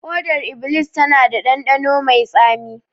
Hodar iblis tana da dandano mai tsami